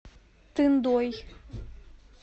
тындой